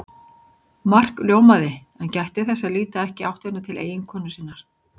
Mark ljómaði en gætti þess að líta ekki í áttina til eiginkonu sinnar.